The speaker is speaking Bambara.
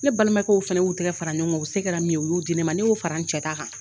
Ne balimakɛw fana y'u tɛgɛ fara ɲɔgɔn kan u se kɛra min ye u y'o di ne ma ne y'o fara n cɛ ta kan.